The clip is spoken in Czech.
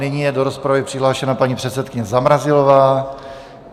Nyní je do rozpravy přihlášena paní předsedkyně Zamrazilová.